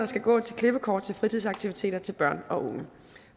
skal gå til klippekort til fritidsaktiviteter til børn og unge